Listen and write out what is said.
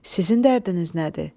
Sizin dərdiniz nədir?